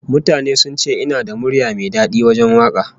Mutane sun ce ina da murya mai dadi wajen waka